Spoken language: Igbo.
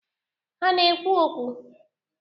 Ha na-ekwu okwu?